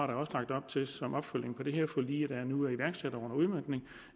der også lagt op til som opfølgning på det her forlig der nu er iværksat og under udmøntning